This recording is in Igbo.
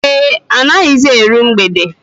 Ee, anaghịzi eru mgbede